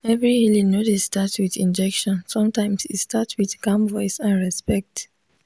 every healing no dey start with injection sometimes e start with calm voice and respect.